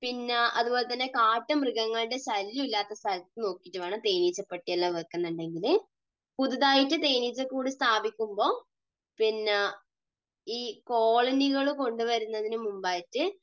പിന്നെ അതുപോലെ തന്നെ കാട്ടുമൃഗങ്ങളുടെ ശല്യം ഇല്ലാത്ത സ്ഥലത്ത് നോക്കിയിട്ട് വേണം തേനീച്ചപ്പെട്ടി എല്ലാം വയ്ക്കുന്നുണ്ടെങ്കിൽ. പുതുതായിട്ട് തേനീച്ചക്കൂട് സ്ഥാപിക്കുമ്പോൾ പിന്നെ ഈ കോളനികൾ കൊണ്ടു വരുന്നതിനു മുമ്പായിട്ട്